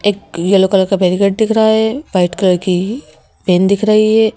एक yellow colour का barricade दिख रहा है वाइट कलर की पेन दिख रही है।